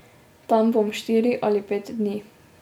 Tam bom štiri ali pet dni.